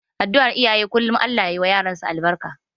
Adduar iyaye kullum Allah ya ma yaransu albarka.